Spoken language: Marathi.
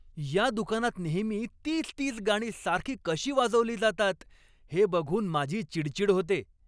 या दुकानात नेहेमी तीच तीच गाणी सारखी कशी वाजवली जातात हे बघून माझी चिडचीड होते.